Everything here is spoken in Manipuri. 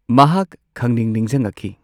ꯃꯍꯥꯛ ꯈꯪꯅꯤꯡ ꯅꯤꯡꯖꯪꯉꯛꯈꯤ꯫